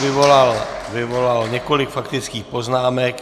Vyvolal několik faktických poznámek.